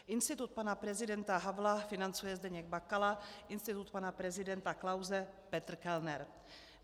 Institut pana prezidenta Havla financuje Zdeněk Bakala, institut pana prezidenta Klause Petr Kellner.